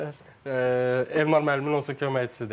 Elmar müəllimin onsuz da köməkçisidir.